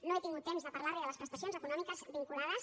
no he tingut temps de parlar li de les prestacions econòmiques vinculades